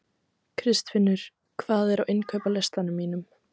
Kristfinnur, hvað er á innkaupalistanum mínum?